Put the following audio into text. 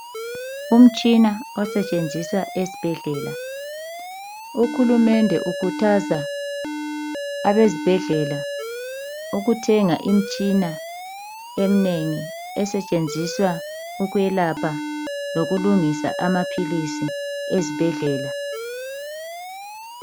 Umtshina osetshenziswa esibhedlela uhulumende ukhuthaza abazibhedlela ukuthenga imitshina eminengi esetshenziswa ukwelapha lokulungisa amaphilisi ezibhedlela.